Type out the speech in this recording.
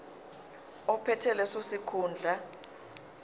ophethe leso sikhundla